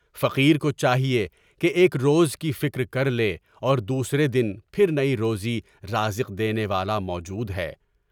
فقیر کو چاہیے کہ ایک روز کی فکر کر لے اور دوسرے دن پھر نئی روزی رازق دینے والا موجود ہے۔